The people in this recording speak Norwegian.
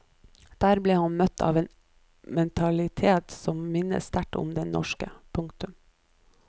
Der ble han møtt av en mentalitet som minnet sterkt om den norske. punktum